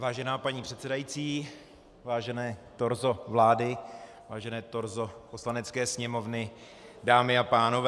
Vážená paní předsedající, vážené torzo vlády, vážené torzo Poslanecké sněmovny, dámy a pánové.